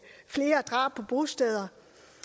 flere drab på bosteder